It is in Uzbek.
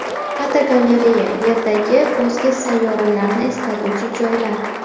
Fotogalereya: Yerdagi o‘zga sayyoralarni eslatuvchi joylar.